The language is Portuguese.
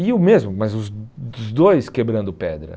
E o mesmo, mas os os dois quebrando pedra.